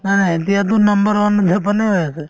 নাই নাই এতিয়াতো number one ত জাপানে হৈ আছে